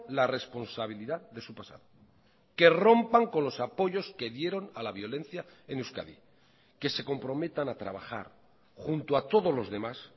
la responsabilidad de su pasado que rompan con los apoyos que dieron a la violencia en euskadi que se comprometan a trabajar junto a todos los demás